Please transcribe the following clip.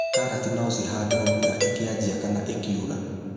Karati no cihandwo mbura ĩkĩanjia kana ĩkiura.